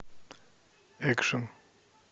экшн